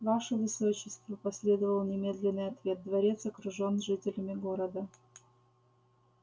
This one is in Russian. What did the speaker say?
ваше высочество последовал немедленный ответ дворец окружен жителями города